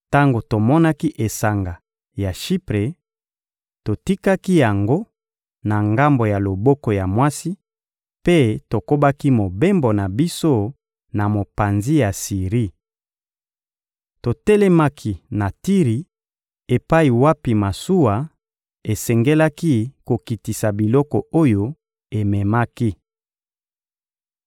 Tango tomonaki esanga ya Shipre, totikaki yango na ngambo ya loboko ya mwasi mpe tokobaki mobembo na biso na mopanzi ya Siri. Totelemaki na Tiri epai wapi masuwa esengelaki kokitisa biloko oyo ememaki.